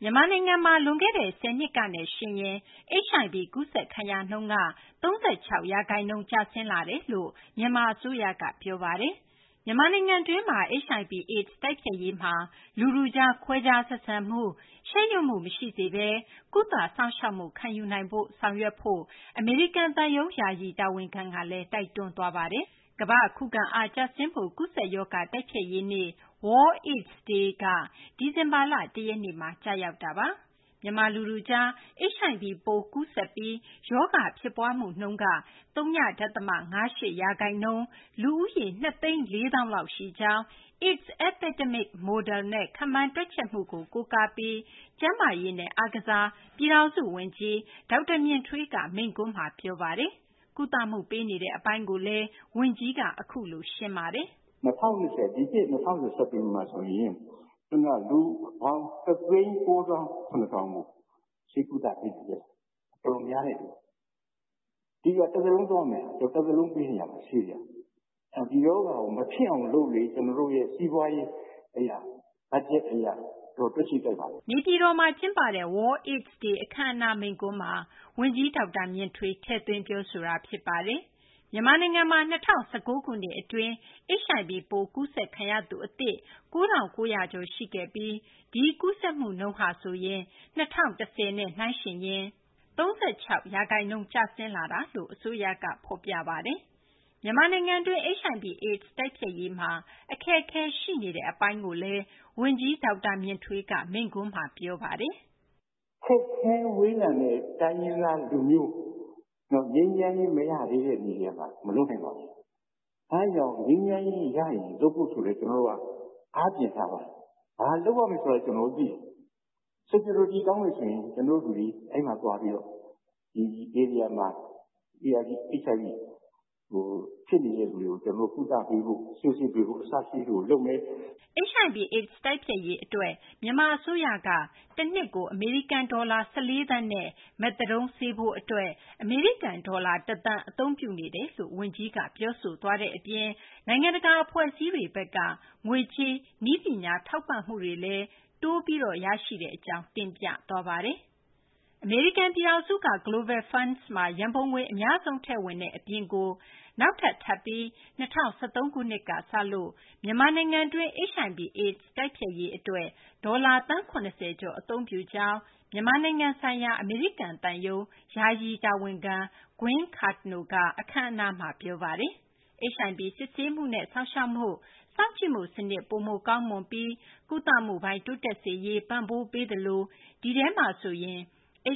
မြန်မာနိုင်ငံမှာ လွန်ခဲ့တဲ့ ၁၀ နှစ်ကနဲ့ ယှဉ်ရင် HIV ကူးစက်ခံရနှုန်းက ၃၆ ရာခိုင်နှုန်းကျဆင်းလာကြောင်း မြန်မာ အစိုးရဘက်က ပြောဆိုပါတယ်။ မြန်မာနိုင်ငံတွင်း HIV/AIDS တိုက်ဖျက်ရေးမှာ လူထုကြား ခွဲခြားဆက်ဆံမှု၊ ရှက်ရွံ့မှု မရှိစေဘဲ ကုသ စောင့်ရှောက်မှု ခံယူနိုင်ရေး အတွက် ဆောင်ရွက်ဖို့ အမေရိကန် သံရုံး ယာယီ တာဝန်ခံကလည်း တိုက်တွန်းသွားပါတယ်။ မသိင်္ဂ ီထိုက် တင်ပြပေးမှာပါ။ ကမာ ္ဘ့ခုခံအားကျဆင်းမှု ကူးစက်ရောဂါ တိုက်ဖျက်ရေးနေ့ World AIDS Day ဒီဇင်ဘာလ ၁ ရက်နေ့မှာ ကျရောက်ပါတယ်။ မြန်မာလူထုကြား HIV ပိုး ကူးစက်ပြီး ရောဂါ ဖြစ်ပွားမှုနှုန်းဟာ ၀ ဒသမ ၅၈ ရာခိုင်နှုန်း၊ လူဦးရေ (၂၄၀,၀၀၀) လောက်ရှိကြောင်း AIDS Epidemic Model နဲ့ ခန့်မှန်းတွက်ချက်မှုကို ကိုးကားပြီး ကျန်းမာရေးနဲ့ အားကစား ပြည်ထောင်စု ဝန်ကြီး ဒေါက်တာ မြင့်ထွေးက မိန့်ခွန်းမှာ ပြောသွားပါတယ်။ ကုသမှုပေးနေတဲ့ အပိုင်းကိုလည်း ဝန်ကြီး ဒေါက်တာ မြင့်ထွေးက ရှင်းပြပါတယ်။ “ ဒီနှစ် ၂၀၂၀ မှာဆိုရင် ကျနော်တို့က လူပေါင်း ၁၉၇,၀၀၀ ကို ဆေးကုသပေးနိုင်ခဲ့ပါပြီ။ တော်တော်များ နေပြီ။ တသက်လုံး ပေးနေရမှာ ဆေးက။ ဒီရောဂါကို မဖြစ်အောင် လုပ်လေ ကျနော်တို့ရဲ့ စီးပွားရေး အရ ဘတ်ဂျက် အရ တော်တော် တွက်ခြေကိုက်ပါတယ်။ ” နေပြည်တော်မှာ ကျင်းပတဲ့ World AIDS Day အခမ်းအနား မိန့်ခွန်းမှာ ဝန်ကြီး ဒေါက်တာ မြင့်ထွေး ထည့်သွင်း ပြောဆိုခဲ့တာ ဖြစ်ပါတယ်။ မြန်မာနိုင်ငံမှာ ၂၀၁၉ ခုနှစ် အတွင်း HIV ပိုး ကူးစက်ခံရသူ အသစ် ၉၉၀၀ ကျော် ရှိခဲ့ပြီး ဒီကူးစက်မှုနှုန်းဟာဆိုရင် ၂၀၁၀ နဲ့ နှိုင်းယှဉ်ရင် ၃၆ ရာခိုင်နှုန်း ကျဆင်းလာတယ်လို့ အစိုးရက ဖော်ပြပါတယ်။ မြန်မာနိုင်ငံတွင်း HIV/AIDS တိုက်ဖျက်ရေးမှာ အခက်အခဲရှိနေတဲ့ အချက်ကိုလည်း ဝန်ကြီး ဒေါက်တာ မြင့်ထွေးက မိန့်ခွန်းမှာ ပြောဆိုသွားပါတယ်။ “ ခက်ခဲဝေးလံတဲ့ တိုင်းရင်းသား လူမျိုး ငြိမ်းချမ်းရေး မရသေးတဲ့ မြေထဲမှာ မလုပ်နိုင်ပါဘူး။ အဲဒါကြောင့် ငြိမ်းချမ်းရေး ရရင် လုပ်ဖို့ ဆိုပြီး ကျနော်တို့က အားပြင်ထားပါတယ်။ ဘာလုပ်ရမယ်ဆိုတာ ကျနော်တို့ သိတယ်။ Security ကောင်းလို့ ရှိရင် ကျနော်တို့ လူတွေ အဲဒီမှာ သွားပြီးတော့ HIV ဖြစ်နေတဲ့သူတွေကို ကုသပေးဖို့ ဆေးစစ်ပေးဖို့ အစရှိသည်တွေကို လုပ်မယ်။ ” HIV/AIDS တိုက်ဖျက်ရေး အတွက် မြန်မာ အစိုးရဘက်က တနှစ်ကို အမေရိကန် ဒေါ်လာ ၁၄ သန်းနဲ့ မက်သာဒုန်း ဆေးဖိုး အတွက် အမေရိကန် ဒေါ်လာ ၁ သန်း အသုံးပြုနေတယ်လို့လည်း ဝန်ကြီးက ပြောဆိုသွားတဲ့ အပြင် နိုင်ငံတကာ အဖွဲ့အစည်းတွေဘက်က ငွေကြေး နည်းပညာ ထောက်ပံ့မှုတွေလည်း တိုးပြီး ရရှိတဲ့ အကြောင်း တင်ပြသွားပါတယ်။ အမေရိကန် ပြည်ထောင်စုက Global Funds မှာ ရန်ပုံငွေ အများဆုံး ထည့်ဝင်တဲ့ အပြင်ကို နောက်ထပ် ထပ်ပြီး ၂၀၁၃ ခုနှစ်က စလို့ မြန်မာနိုင်ငံတွင်း HIV/AIDS တိုက်ဖျက်ရေး အတွက် ဒေါ်လာ သန်း ၇၀ ကျော် အသုံးပြုကြောင်း မြန်မာနိုင်ငံဆိုင်ရာ အမေရိကန် သံရုံး ယာယီ တာဝန်ခံ Gwen Cardno က အခမ်းအနားမှာ ပြောပါတယ်။ HIV စစ်ဆေးမှုနဲ့ စောင့်ရှောက်မှု၊ စောင့်ကြည့်မှု စနစ် ပိုမိုကောင်းမွန်ပြီး ကုသမှုပိုင်း တိုးတက်စေရေး ပံ့ပိုးပေးသလို ဒီထဲမှာဆိုရင်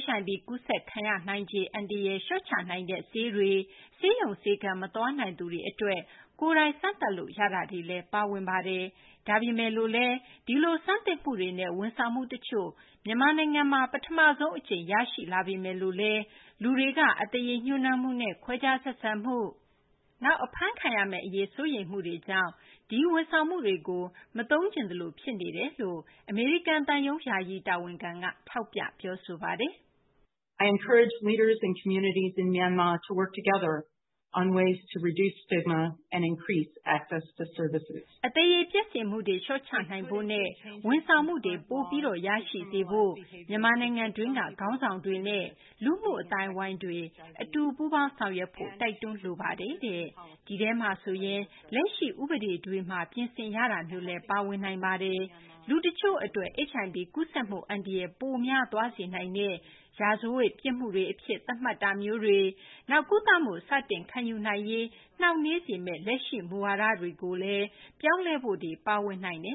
HIV ကူးစက်နိုင်ငံခြေ အန္တရာယ် လျှော့ချနိုင်တဲ့ ဆေးတွေ၊ ဆေးရုံ ဆေးခန်း မသွားနိုင်သူတွေ အတွက် ကိုယ်တိုင် စမ်းသပ်လို့ ရတာတွေလည်း ပါဝင်တယ်၊ ဒါပေမယ်လို့လည်း ဒီလို ဆန်းသစ်မှုတွေနဲ့ ဝန်ဆောင်မှု တချို့ မြန်မာနိုင်ငံတွင်းမှာ ပထမဆုံး အကြိမ် အဖြစ် ရရှိလာပေမယ်လို့လည်း လူတွေက အသရေ ညှှိုးနွမ်းမှုနဲ့ ခွဲခြားဆက်ဆံမှု၊ နောက် အဖမ်းခံရမယ့် အရေး စိုးရိမ်မှုတွေကြောင့် ဒီ ဝန်ဆောင်မှုတွေကို မသုံးချင်သလို ဖြစ်နေတယ်လို့ အမေရိကန် သံရုံး ယာယီ တာဝန်ခံက ထောက်ပြ ပြောဆိုပါတယ်။ “ အသရေပျက်စေမှုတွေ လျှော့ချနိုင်ဖို့နဲ့ ဝန်ဆောင်မှုတွေ ပိုပြီး ရရှိစေဖို့ အတွက် မြန်မာနိုင်ငံတွင်းက ခေါင်းဆောင်တွေနဲ့ လူမှုအသိုင်းအဝိုင်းတွေ အတူပူးပေါင်း ဆောင်ရွက်ဖို့ တိုက်တွန်းလိုပါတယ်။ ဒီထဲမှာဆိုရင် လက်ရှိ ဥပဒေတွေမှာ ပြင်ဆင်ရတာမျိုးလည်း ပါဝင်နိုင်ပါတယ်။ လူတချို့ အတွက် HIV ကူးစက်မှု အန္တရာယ် ပိုများသွားစေနိုင်တဲ့ ရာဇဝတ် ပြစ်မှုအဖြစ် သတ်မှတ်တာမျိုးတွေ၊ နောက် ကုသမှု စတင် ခံယူနိုင်ရေးကို နှောင့်နှေးစေမယ့် လက်ရှိ မူဝါဒတွေကိုလည်း ပြောင်းလဲဖို့တွေ ပါဝင်နိုင်ပါ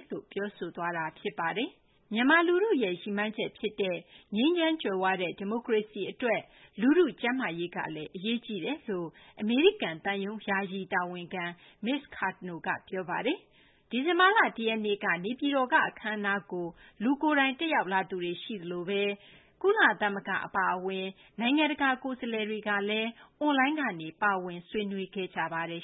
တယ်။ ” မြန်မာ လူထုရဲ့ ရည်မှန်းချက် ဖြစ်တဲ့ ငြိမ်းချမ်း ကြွယ်ဝတဲ့ ဒီမိုကရေစီ အတွက် လူထု ကျန်းမာရေးကလည်း အရေးကြီးတယ်လို့လည်း အမေရိကန် သံရုံး ယာယီ တာဝန်ခံ မစ္စ Cardno က ပြောပါတယ်။ ဒီဇင်ဘာလ ၁ ရက်နေ့ နေပြည်တော်က အခမ်းအနားကို လူကိုယ်တိုင် တက်ရောက်သူတွေ ရှိသလို ကုလသမဂ္ဂ အပါအဝင် နိုင်ငံတကာ ကိုယ်စားလှယ်တွေကတော့ အွန်လိုင်းကနေ ပါဝင် ဆွေးနွေးခဲ့ကြပါတယ်